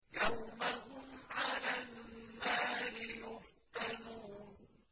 يَوْمَ هُمْ عَلَى النَّارِ يُفْتَنُونَ